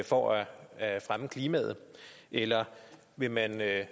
for at at fremme klimaet eller vil man af